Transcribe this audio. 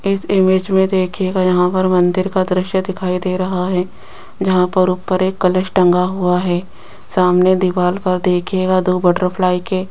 इस इमेज में देखिएगा यहां पर मंदिर का दृश्य दिखाई दे रहा है जहां पर ऊपर एक कलश टंगा हुआ है सामने दीवार पर देखिएगा दो बटरफ्लाई के --